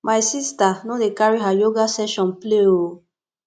my sista no dey carry her yoga session play o